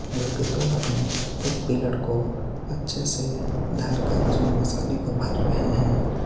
एक दो आदमी एक पिलर को अच्छे से धर कर उसमें मसाले को भर रहे हैं।